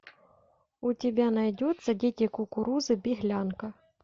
у тебя найдется дети кукурузы беглянка